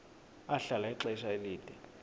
ahlala ixesha elide